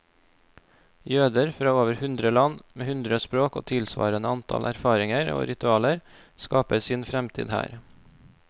Jøder fra over hundre land, med hundre språk og tilsvarende antall erfaringer og ritualer, skaper sin fremtid her.